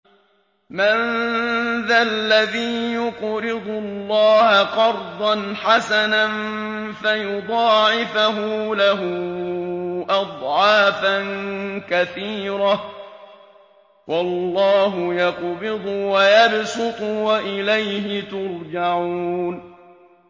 مَّن ذَا الَّذِي يُقْرِضُ اللَّهَ قَرْضًا حَسَنًا فَيُضَاعِفَهُ لَهُ أَضْعَافًا كَثِيرَةً ۚ وَاللَّهُ يَقْبِضُ وَيَبْسُطُ وَإِلَيْهِ تُرْجَعُونَ